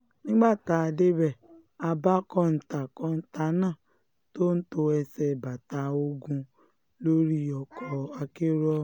nígbà tá a débẹ̀ a bá kọ́ńtà kọ́ńtà náà tó tó ẹsẹ̀ bàtà ogún lórí ọkọ̀ akérò ọ̀hún